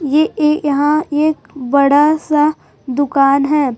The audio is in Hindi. ये ए यहां एक बड़ा सा दुकान है।